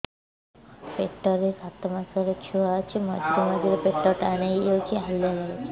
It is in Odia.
ପେଟ ରେ ସାତମାସର ଛୁଆ ଅଛି ମଝିରେ ମଝିରେ ପେଟ ଟାଣ ହେଇଯାଉଚି ହାଲିଆ ଲାଗୁଚି